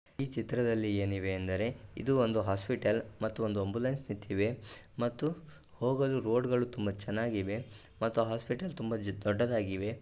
ಈ ಚಿತ್ರದಲ್ಲಿ ಏನಿವೆ ಎಂದರೆ ಇದು ಒಂದು ಹಾಸ್ಪಿಟಲ್ ಮತ್ತು ಒಂದು ಆಂಬುಲೆನ್ಸ್ ನಿಂತಿವೆ ಮತ್ತು ಹೊಗಲು ರೋಡ್ಗಳು ತುಂಬ ಚನಾಗಿವೆ ಮತ್ತು ಹಾಸ್ಪಿಟಲ್ ತುಂಬ ಚ-ದೊಡ್ಡದಾಗಿದೆ.